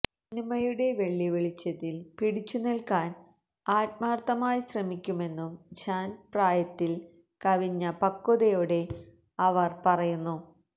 സിനിമയുടെ വെള്ളി വെളിച്ചത്തില് പിടിച്ചു നില്ക്കാന് ആത്മാര്ഥമായി ശ്രമിക്കുമെന്നും ജാന്പ് പ്രായത്തില് കവിഞ്ഞ പക്വതയോടെ അവര് പറയുന്നു